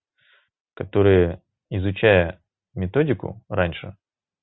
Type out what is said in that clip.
которая изучая методику раньше